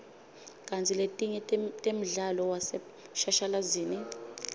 kantsi letinye temdlalo waseshashalazini